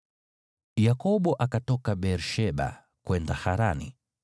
Yakobo akatoka Beer-Sheba kwenda Harani.